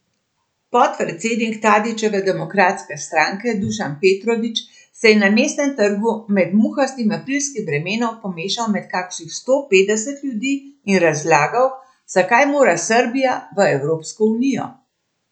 Podpredsednik Tadićeve Demokratske stranke Dušan Petrović se je na Mestnem trgu med muhastim aprilskim vremenom pomešal med kakšnih sto petdeset ljudi in razlagal, zakaj mora Srbija v Evropsko unijo.